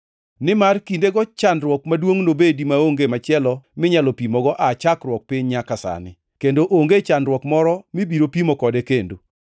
Nimar kindego chandruok maduongʼ nobedi maonge machielo minyalo pimogo aa chakruok piny nyaka sani, kendo onge chandruok moro mibiro pimo kode kendo.